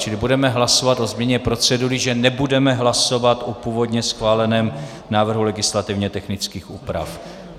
Čili budeme hlasovat o změně procedury, že nebudeme hlasovat o původně schváleném návrhu legislativně technických úprav.